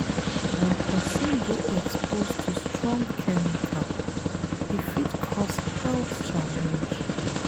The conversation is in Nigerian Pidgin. When person dey exposed to strong chemical, e fit cause health challenge